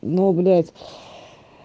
ну блять